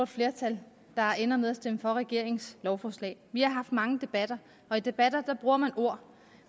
flertal der ender med at stemme for regeringens lovforslag vi har haft mange debatter og i debatter bruger man ord